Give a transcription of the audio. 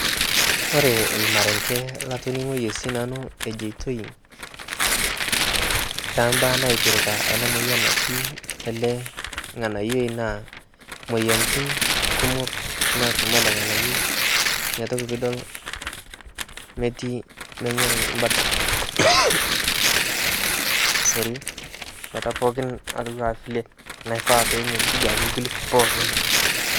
kore lmarenge latoningoiye sii nanu ejoitoi tambaa naipirita ana moyan natii ale nghanayoi naa moyanitin kumok naatumo alee nghanayoi inia toki piidol metii menyori mbata pooki atuwaa vile naifaa duake penyorijuu lkulie pookin